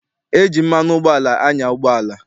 E ji mmanụ ụgbọala anya ụgbọala.